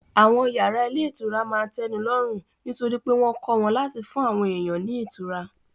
Àwọn yàrá ilé ìtura máa n tẹ́ni lọ́rùn nítorí pé wọ́n kọ́ wọn láti fún àwọn èèyàn ní ìtura